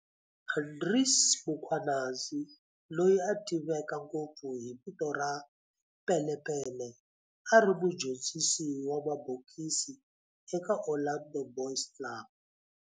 Andries Mkhwanazi, loyi a tiveka ngopfu hi vito ra Pele Pele, a ri mudyondzisi wa mabokisi eka Orlando Boys Club.